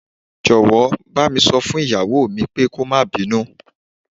Jọ̀wọ́, bá mi sọ fún ìyàwó mi pé kó máa bínú.